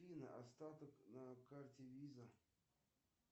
афина остаток на карте виза